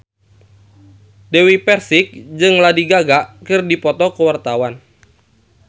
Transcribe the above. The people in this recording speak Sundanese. Dewi Persik jeung Lady Gaga keur dipoto ku wartawan